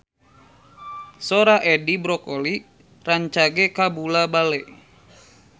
Sora Edi Brokoli rancage kabula-bale